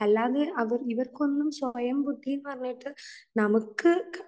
അല്ലാതെ ഇവർക്ക് ഒന്നും സ്വയം ബുദ്ധി എന്നു പറഞ്ഞിട്ട് നമുക്ക്